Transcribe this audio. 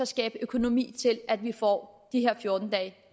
skabe økonomi til at vi får de fjorten dage